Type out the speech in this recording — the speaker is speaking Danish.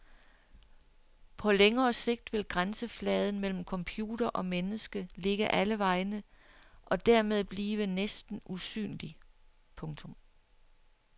På længere sigt vil grænsefladen mellem computer og menneske ligge alle vegne og dermed blive næsten usynlig. punktum